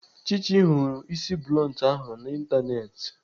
Chichi hụrụ isi bluntu ahụ n'Ịntanetị.